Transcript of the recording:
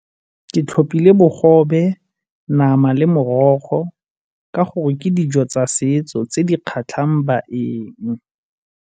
Ke tlhopile bogobe, nama le morogo ka gore ke dijo tsa setso tse di kgatlhang baeng.